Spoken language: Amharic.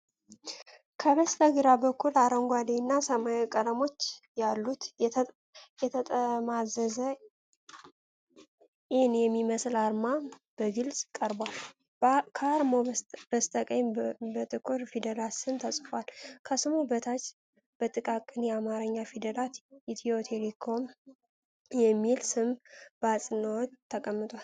ከበስተግራ በኩል አረንጓዴና ሰማያዊ ቀለሞች ያሉት፣ የተጠማዘዘ “ኢን” የሚመስል አርማ በግልጽ ቀርቧል። ከአርማው በስተቀኝ በጥቁር ፊደላት ስም ተጽፏል። ከስሙ በታች በጥቃቅን የአማርኛ ፊደላት “ኢትዮ-ቴሌኮም” የሚል ስም በአጽንዖት ተቀምጧል።